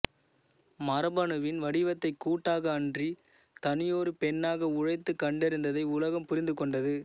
மரபணு வின் வடிவத்தைக் கூட்டாக அன்றி தனியொரு பெண்ணாக உழைத்துக் கண்டறிந்ததை உலகம் புரிந்துகொண்டது